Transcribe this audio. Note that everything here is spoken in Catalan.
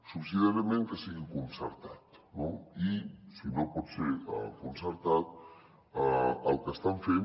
subsidiàriament que sigui concertat no i si no pot ser concertat el que estan fent